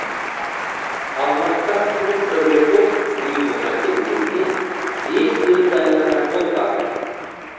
алматыдағы клуб добряков ұйымына келгеніне бес төрт ай ғана болған